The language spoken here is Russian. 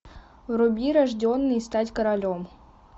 вруби рожденный стать королем